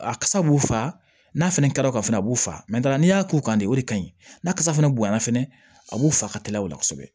A kasa b'u fa n'a fɛnɛ kɛra o ka a b'u fa n'i y'a k'u kan de o de ka ɲi n'a kasa fɛnɛ bonya na fɛnɛ a b'u faga ka tigɛ o la kosɛbɛ